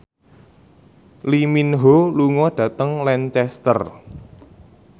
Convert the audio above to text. Lee Min Ho lunga dhateng Lancaster